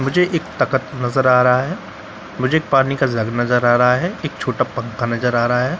मुझे एक एक ताकत नजर आ रहा है मुझे एक पानी का जग नजर आ रहा है एक छोटा पंखा नजर आ रहा है ।